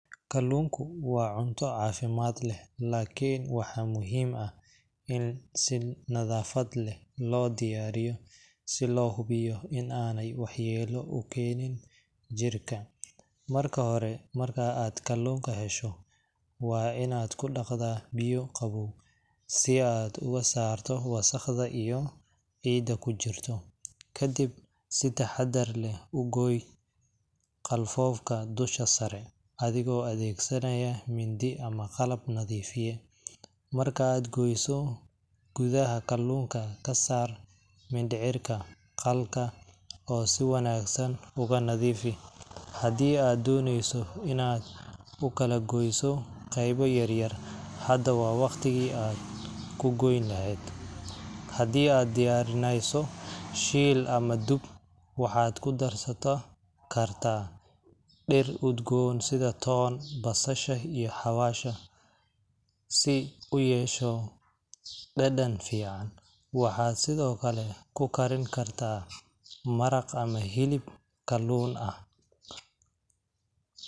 Kalluunku waa cunto caafimaad leh, laakiin waxaa muhiim ah in si nadaafad leh loo diyaariyo si loo hubiyo in aanay waxyeello u keenin jirka. Marka hore, marka aad kalluunka hesho, waa inaad ku dhaqdaa biyo qabow si aad uga saarto wasakhda iyo ciidda ku jirto. Kadib, si taxaddar leh u gooy qalfoofka dusha sare, adigoo adeegsanaya mindi ama qalab nadiifiye. Marka aad goyso, gudaha kalluunka ka saar mindhicirka qalka oo si wanaagsan uga nadiifi. Haddii aad dooneyso inaad u kala goyso qaybo yaryar, hadda waa waqtigii aad ku goyn lahayd. Haddii aad diyaarinayso shiil ama dub, waxaad ku darsato kartaa dhir udgoon sida toon, basasha, iyo xawaash, si u yeesho dhadhan fiican. Waxaad sidoo kale ku karinkartaa maraq ama hilib kalluun ah.